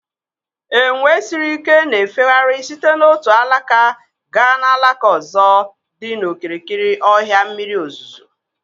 Enwe siri ikena-efegharị site n'otu alaka gaa n'alaka ozo dị n'okirikiri ọhịa mmiri ozuzo.